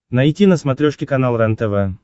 найти на смотрешке канал рентв